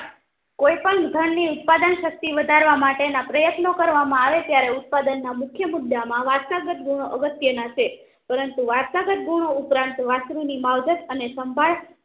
કોઈ પણ ધન ની ઉત્પાદન શક્તિ વધારવા માટેના પ્રયત્નો કરવામાં આવે ત્યારે ઉત્પાદનના મુખ્ય મુદ્દામાં વારસાગત ગુણો અગત્યના છે પરંતુ વારસાગત ગુણો ઉપરાંત વાસ્ત્રુ માવજત અને સંભાળ